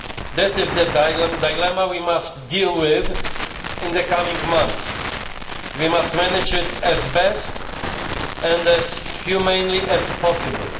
That is the dilemma we must deal with in the coming months. We must manage it as best and as humanely as possible.